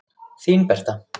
Þín Berta.